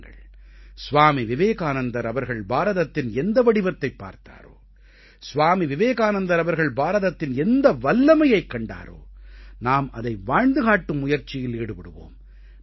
வாருங்கள் ஸ்வாமி விவேகானந்தர் அவர்கள் பாரதத்தின் எந்த வடிவத்தைப் பார்த்தாரோ ஸ்வாமி விவேகானந்தர் அவர்கள் பாரதத்தின் எந்த வல்லமையைக் கண்டாரோ நாம் அதை வாழ்ந்து காட்டும் முயற்சியில் ஈடுபடுவோம்